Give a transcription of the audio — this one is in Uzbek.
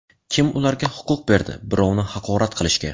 Kim ularga huquq berdi birovni haqorat qilishga?